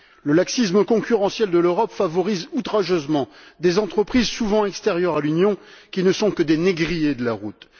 Le laxisme concurrentiel de l'Europe favorise outrageusement des entreprises souvent extérieures à l'Union qui ne sont que des négriers de la route.